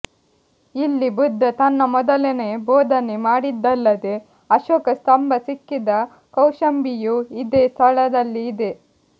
ಇಲ್ಲಿ ಬುದ್ಧ ತನ್ನ ಮೊದಲ ಬೋಧನೆ ಮಾಡಿದ್ದಲ್ಲದೇ ಅಶೋಕ ಸ್ಥಂಭ ಸಿಕ್ಕಿದ ಕೌಶಂಬಿಯೂ ಇದೇ ಸ್ಥಳದಲ್ಲಿ ಇದೆ